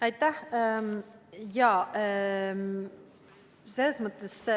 Aitäh!